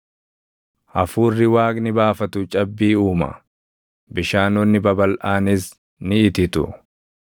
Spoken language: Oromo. Hafuurri Waaqni baafatu cabbii uuma; bishaanonni babalʼaanis ni ititu.